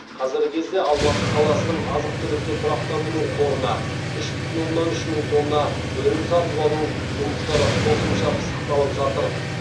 қазіргі кезде алматы қаласының азық түлікті тұрақтандыру қорына үш бүтін оннан үш мың тонна өнім сатып алу жұмыстары қосымша пысықталып жатыр